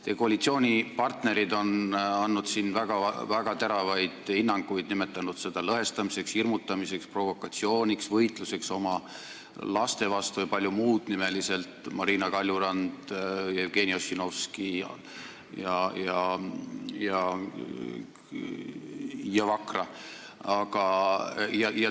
Teie koalitsioonipartnerid, nimeliselt Marina Kaljurand, Jevgeni Ossinovski ja Rainer Vakra, on andnud selle kohta väga teravaid hinnanguid, nimetanud seda lõhestamiseks, hirmutamiseks, provokatsiooniks, võitluseks oma laste vastu jpm.